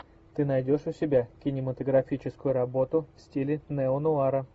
ты найдешь у себя кинематографическую работу в стиле неонуара